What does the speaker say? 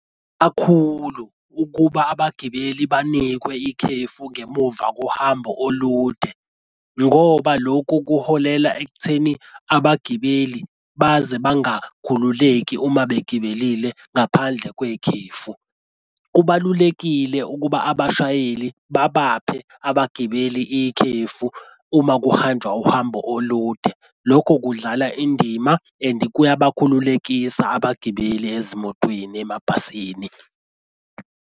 Kakhulu ukuba abagibeli banikwe ikhefu ngemuva kohambo olude ngoba lokhu kuholela ekutheni abagibeli baze bangakhululeki uma begibelile ngaphandle kwekhefu. Kubalulekile ukuba abashayeli babaphe abagibeli ikhefu uma kuhanjwa uhambo olude. Lokho kudlala indima and kuyabakhululekisa abagibeli ezimotweni emabhasini,